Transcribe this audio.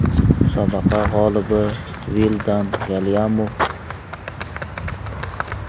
Musobaqa g‘olibi Vildan Galyamov.